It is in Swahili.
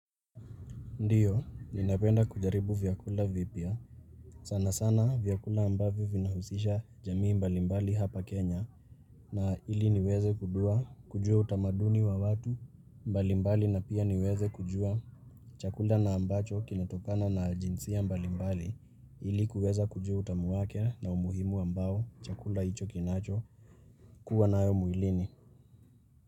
Ndiyo, ninapenda kujaribu vyakula vipya. Sana sana vyakula ambavyo vinahusisha jamii mbalimbali hapa Kenya. Na ili niweze kujua utamaduni wa watu, mbalimbali na pia niweze kujua. Chakula na ambacho kinatokana na jinsia mbalimbali ili kuweza kujua utamu wake na umuhimu ambao chakula hicho kinacho kuwa nayo mwilini.